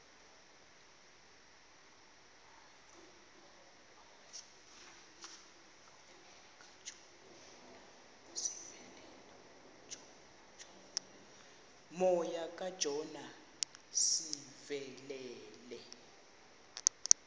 moya kajona sivelele